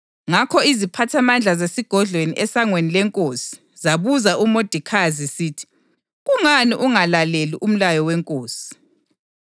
Ngakho iziphathamandla zesigodlweni esangweni lenkosi zabuza uModekhayi zisithi, “Kungani ungalaleli umlayo wenkosi?”